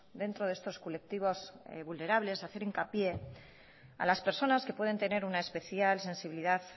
dentro de estos colectivos vulnerables hacer hincapié a las personas que pueden tener una especial sensibilidad